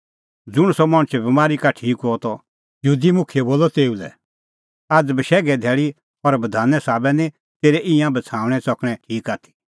ज़ुंण सह मणछ बमारी का ठीक हुअ त यहूदी मुखियै बोलअ तेऊ लै आझ़ आसा बशैघे धैल़ी और बधाने साबै निं तेरै ईंयां बछ़ाऊणैं च़कणैं ठीक आथी